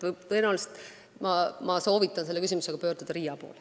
Tõenäoliselt ma soovitan pöörduda selle küsimusega RIA poole.